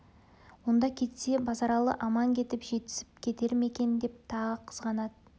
онда кетсе базаралы аман кетіп жетісіп кетер ме екен деп тағы қызғанады